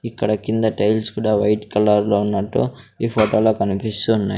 ఇక్కడ కింద టైల్స్ కుడా వైట్ కలర్ లో ఉన్నట్టు ఈ ఫొటో లో కనిపిస్తు ఉన్నాయ్.